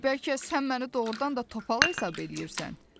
Bəlkə sən məni doğrudan da topal hesab eləyirsən?